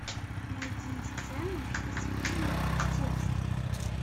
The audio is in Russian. найди сцену из фильма текст